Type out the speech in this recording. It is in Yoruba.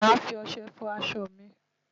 Màá fi ọṣẹ fọ aṣọ mi.